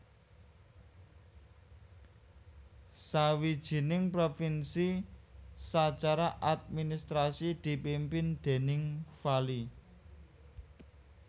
Sawijining provinsi sacara administrasi dipimpin déning vali